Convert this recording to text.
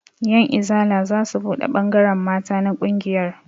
Ƴan izala zasu buɗe ɓangaren mata na ƙungiyar